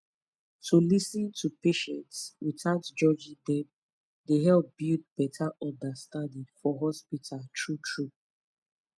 to lis ten to patients without judging dem dey help build better understanding for hospital truetrue